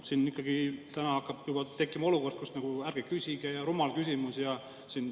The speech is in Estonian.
Siin ikkagi täna hakkab juba tekkima olukord, kus ärge küsige ja rumal küsimus.